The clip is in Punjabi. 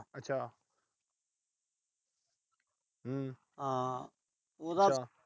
ਉਹਦਾ।